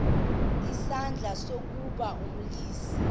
isandla ukuba ambulise